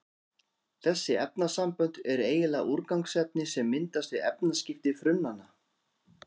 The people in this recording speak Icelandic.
Þessi efnasambönd eru eiginlega úrgangsefni sem myndast við efnaskipti frumnanna.